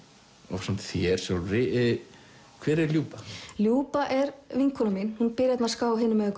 ásamt þér sjálfri hver er Ljuba ljuba er vinkona mín hún býr hérna ská hinum megin